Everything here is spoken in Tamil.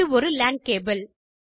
இது ஒரு லான் கேபிள்